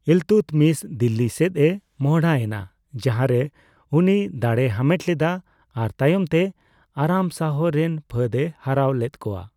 ᱤᱞᱛᱩᱛᱢᱤᱥ ᱫᱤᱞᱞᱤ ᱥᱮᱪᱮ ᱢᱚᱰᱦᱟ ᱮᱱᱟ, ᱡᱟᱦᱟᱸ ᱨᱮ ᱩᱱᱤ ᱫᱟᱲᱮᱭ ᱦᱟᱢᱮᱴ ᱞᱮᱫᱟ ᱟᱨ ᱛᱟᱭᱚᱢᱛᱮ ᱟᱨᱟᱢ ᱥᱟᱦᱚ ᱨᱮᱱ ᱯᱷᱟᱹᱫᱽ ᱮ ᱦᱟᱨᱟᱣ ᱞᱮᱫ ᱠᱚᱣᱟ ᱾